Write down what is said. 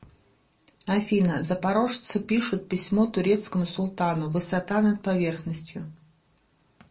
афина запорожцы пишут письмо турецкому султану высота над поверхностью